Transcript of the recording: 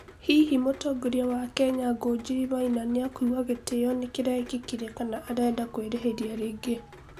hihi mũtongoria wa Kenya ngunjiri maina nĩakũigwa gĩtio nĩkirekĩkire kana arenda kwĩrĩhĩria rĩngĩ